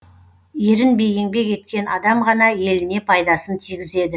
ерінбей еңбек еткен адам ғана еліне пайдасын тигізеді